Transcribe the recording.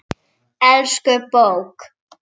Elsku bók!